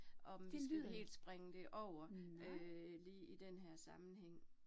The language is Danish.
Om vi skal helt springe det over øh lige i denne her sammenhæng